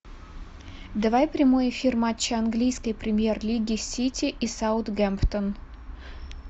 давай прямой эфир матча английской премьер лиги сити и саутгемптон